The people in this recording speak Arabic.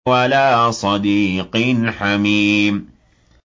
وَلَا صَدِيقٍ حَمِيمٍ